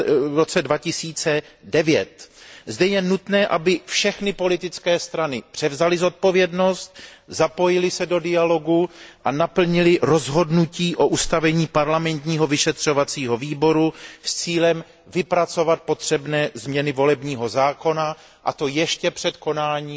2009. Zde je nutné, aby všechny politické strany převzaly zodpovědnost, zapojily se do dialogu a naplnily rozhodnutí o zřízení parlamentního vyšetřovacího výboru s cílem vypracovat potřebné změny volebního zákona, a to ještě před konáním